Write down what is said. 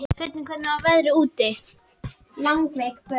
Svenni, hvernig er veðrið úti?